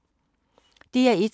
DR1